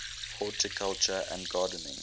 horticulture and gardening